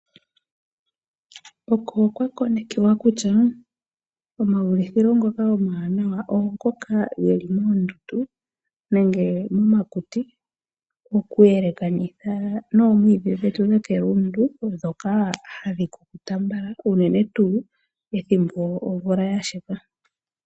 Oko kwa konekiwa kutya, omaulithilo ngoka omawanawa, ongoka geli moondundu nenge momakuti, moku yelekanitha nnomwidhi dhetu dhomegumbo dhoka hadhi kukuta mbala uunene tuu, ethimbo omvula ya sheka.